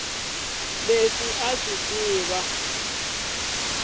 leswi a a swi tiva